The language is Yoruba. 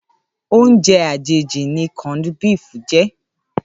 Óoùnjè àjéjí ni cònd bíf jè